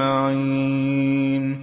مَّعِينٍ